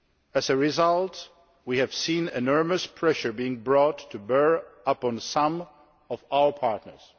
As a result, we have seen enormous pressure being brought to bear upon some of our partners.